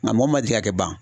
Nga mɔgɔ ma degi a tɛ ban